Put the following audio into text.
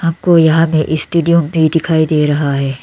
हमको यहां में स्टेडियम भी दिखाई दे रहा है।